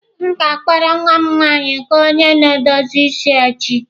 M ga-akpọrọ nwa m nwanyị gaa onye na-edozi isi echi.